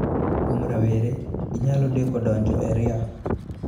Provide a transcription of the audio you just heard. Kuom rawere, ginyalo deko donjo e ria.